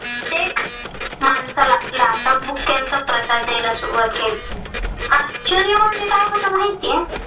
लाथाबुक्क्यांचा प्रसाद द्यायला सुरुवात केली. आश्चर्य म्हणजे काय होत माहितीय?